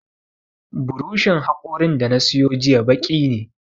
Buroshin haƙorin da na siyo jiya baki ne